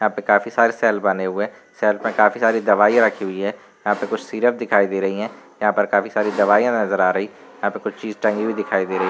यहाँं पे काफी सारे सेल बने हुए है। सेल पर काफी सारी दवाइयाँ रखी हुई है। यहाँं पर कुछ सिरप दिखाई दे रही है। यहाँं पर काफी सारी दवाइयाँ नजर आ रही यहाँं कुछ चीज टंगी हुई दिखाई दे रही --